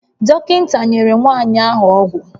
Dọkịta nyere nwanyị ahụ ọgwụ